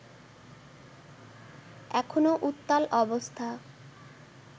এখনো উত্তাল অবস্থা